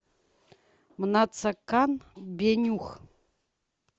мнацекан бенюх